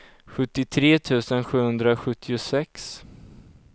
sjuttiotre tusen sjuhundrasjuttiosex